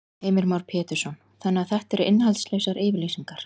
Heimir Már Pétursson: Þannig að þetta eru innihaldslausar yfirlýsingar?